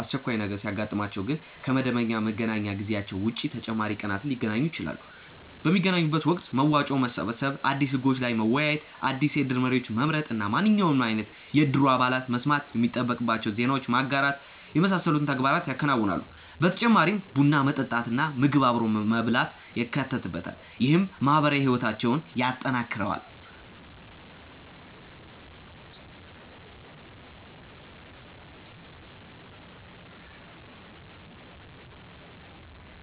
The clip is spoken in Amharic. አስቸኳይ ነገር ሲያጥማቸው ግን ከ መደበኛ መገናኛ ጊዜያቸው ውጪ ተጨማሪ ቀናትን ሊገናኙ ይችላሉ። ። በሚገናኙበት ወቅት መዋጮ መሰብሰብ፣ አዲስ ህጎች ላይ መወያየት፣ አዲስ የእድር መሪዎችን መምረጥ እና ማንኛውም አይነት የእድሩ አባላት መስማት የሚጠበቅባቸውን ዜናዎች ማጋራት የመሳሰሉትን ተግባራት ያከናውናሉ። በተጨማሪም ቡና መጠጣት እና ምግብ አብሮ መብላት ይካተትበታል። ይህም ማህበራዊ ህይወታቸውን ያጠናክረዋል።